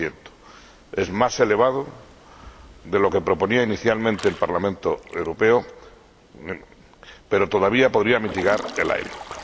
7. Es más elevado de lo que proponía inicialmente el Parlamento Europeo, pero todavía podría mitigar el ILUC.